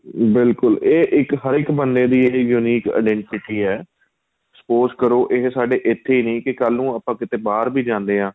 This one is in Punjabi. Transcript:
ਬਿਲਕੁਲ ਏ ਇੱਕ ਹਰੇਕ ਬੰਦੇ ਦੀ unique identity ਏ spouse ਕਰੋ ਏ ਸਾਡੇ ਏਥੇ ਹੀ ਨਹੀਂ ਕੱਲ ਨੂੰ ਆਪਾਂ ਕਿਥੇ ਬਹਾਰ ਵੀ ਜਾਂਦੇ ਹਾਂ